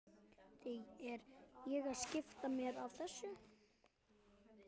Því er ég að skipta mér af þessu?